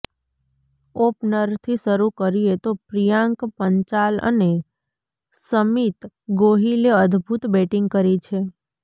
ઓપનરથી શરૂ કરીએ તો પ્રિયાંક પંચાલ અને સમિત ગોહિલે અદ્ભુત બેટિંગ કરી છે